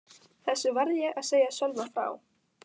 Þessu varð ég að segja Sölva frá.